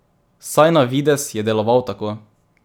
Vsaj na videz je deloval tako!